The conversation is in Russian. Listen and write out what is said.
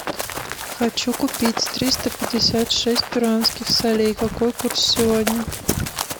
хочу купить триста пятьдесят шесть перуанских солей какой курс сегодня